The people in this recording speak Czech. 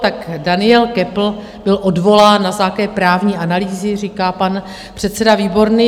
Tak Daniel Köppl byl odvolán na základě právní analýzy, říká pan předseda Výborný.